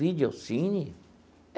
Vídeo cine?